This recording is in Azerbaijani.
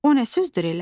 O nə sözdür elə?